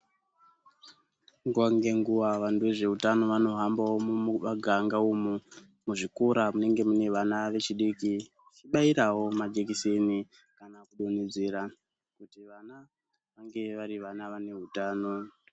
Nguva ngenguva vantu vezveutano vanohambaqo mumaganga umu, muzvikora munenge mune vana vechidiki. Vechibairawo majekiseni kana kudonhedzera kuti vana vange vari vana vane hutano.